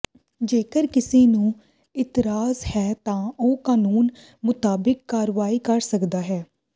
ਜੇਕਰ ਕਿਸੇ ਨੂੰ ਇਤਰਾਜ਼ ਹੈ ਤਾਂ ਉਹ ਕਾਨੂੰਨ ਮੁਤਾਬਿਕ ਕਾਰਵਾਈ ਕਰ ਸਕਦਾ ਹੈ